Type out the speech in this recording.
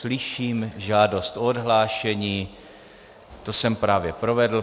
Slyším žádost o odhlášení, to jsem právě provedl.